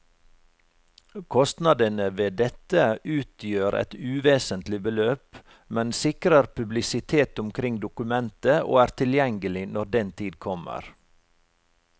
Kostnadene ved dette utgjør et uvesentlig beløp, men sikrer publisitet omkring dokumentet og er tilgjengelig når den tid kommer.